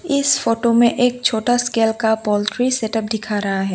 इस फोटो में एक छोटा स्केल का पोल्ट्री सेटअप दिख रहा है।